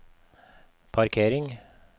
parkering